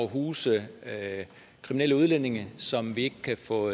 huse kriminelle udlændinge som vi ikke kan få